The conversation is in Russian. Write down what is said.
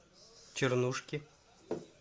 чернушки